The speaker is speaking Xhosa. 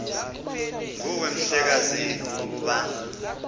nguwe mhlekazi ukuba